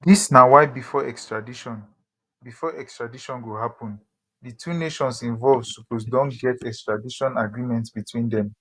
dis na why bifor extradition bifor extradition go happun di two nations involved suppose don get extradition agreement between dem